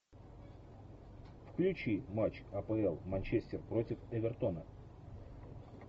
включи матч апл манчестер против эвертона